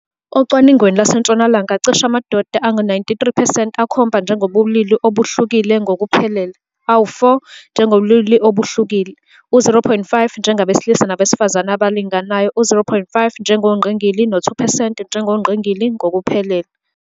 Ocwaningweni lwaseNtshonalanga, cishe amadoda angama-93 percent akhomba njengabobulili obuhlukile ngokuphelele, awu-4 njengabobulili obuhlukile, u-0.5 njengabesilisa nabesifazane abalinganayo, u-0.5 njengongqingili, no-2 percent njengobungqingili ngokuphelele.